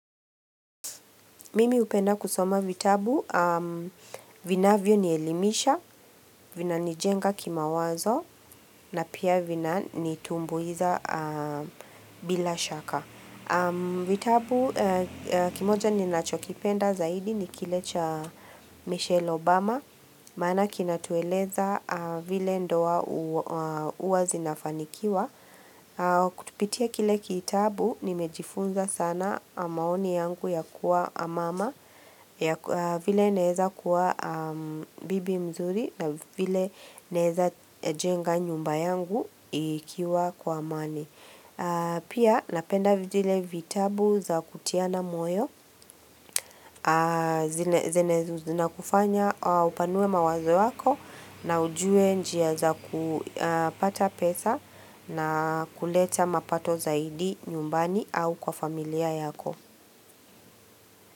Mimi hupenda kusoma vitabu, vinavyo nielimisha, vina nijenga kimawazo na pia vina nitumbuiza bila shaka. Vitabu, kimoja ni nachokipenda zaidi ni kile cha Michelle Obama, maana kina tueleza vile ndoa hua zinafanikiwa. Kupitia kile kitabu nimejifunza sana maoni yangu ya kuwa mama vile neweza kuwa bibi mzuri na vile neweza jenga nyumba yangu ikiwa kwa amani Pia napenda vile vitabu za kutiana moyo Zinye zinakufanya upanue mawazo yako na ujue njia za kupata pesa na kuleta mapato zaidi nyumbani au kwa familia yako.